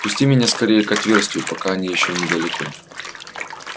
пусти меня скорее к отверстию пока они ещё недалеко